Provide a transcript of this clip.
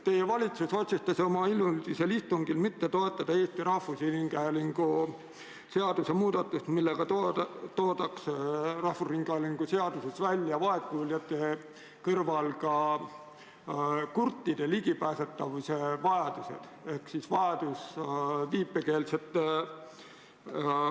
Teie valitsus otsustas oma hiljutisel istungil mitte toetada Eesti Rahvusringhäälingu seaduse muudatust, millega oleks rahvusringhäälingu seaduses vaegkuuljate kõrval välja toodud ka kurtide vajadused infole ligi pääseda.